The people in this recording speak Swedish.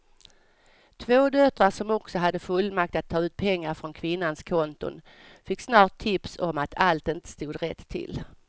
Två döttrar som också hade fullmakt att ta ut pengar från kvinnans konton fick snart tips om att allt inte stod rätt till.